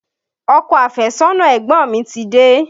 Ọkọ àfẹ́sọ́nà ẹ̀gbọ́n mi ti dé